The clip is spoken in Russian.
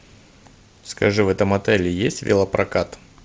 скажи в этом отеле есть велопрокат